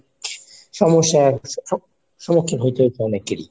সমস্যার স~ সম্মুখীন হতে হয়েছিল অনেকেরই।